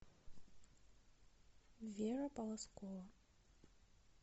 вера полозкова